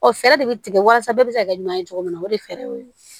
Ɔ fɛɛrɛ de bɛ tigɛ walasa bɛɛ bɛ se ka kɛ ɲuman ye cogo min na o de ye fɛɛrɛw ye